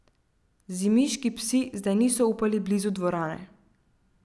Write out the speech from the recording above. Zimiški psi zdaj niso upali blizu dvorane.